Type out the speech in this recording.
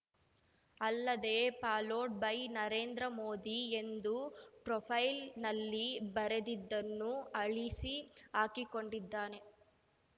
ಅಲ್ಲದೆ followed by Narendra Modi ಎಂದು ಪ್ರೊಫೈಲ್‌ನಲ್ಲಿ ಬರೆದಿದ್ದನ್ನೂ ಅಳಿಸಿ ಹಾಕಿಕೊಂಡಿದ್ದಾನೆ